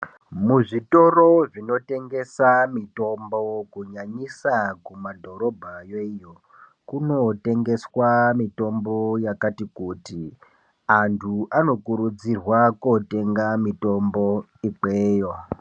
Muzvitoro zvinotengesa mitombo, kunyanyisa kumadhorobhayo iyo, kunotengeswa mitombo yakati kuti .Antu anokurudzirwa kotenga mitombo ikweyo.